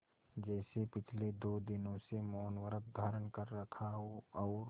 जैसे पिछले दो दिनों से मौनव्रत धारण कर रखा हो और